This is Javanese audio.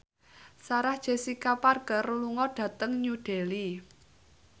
Sarah Jessica Parker lunga dhateng New Delhi